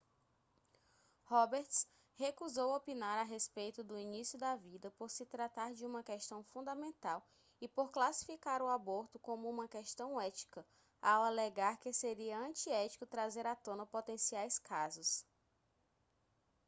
roberts recusou opinar a respeito do início da vida por se tratar de uma questão fundamental e por classificar o aborto como uma questão ética ao alegar que seria antiético trazer à tona potenciais casos